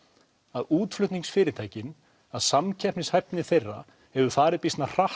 að útflutningsfyrirtækin að samkeppnishæfni þeirra hefur farið býsna hratt